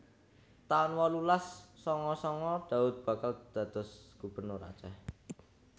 taun wolulas sanga sanga Daud bakal dados Gubernur Aceh